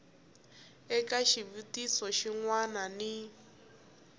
eka xivutiso xin wana ni